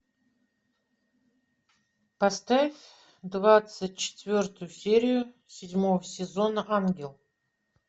поставь двадцать четвертую серию седьмого сезона ангел